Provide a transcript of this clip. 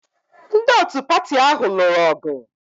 Ndị otu pati ahụ lụrụ ọgụ